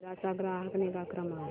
सेरा चा ग्राहक निगा क्रमांक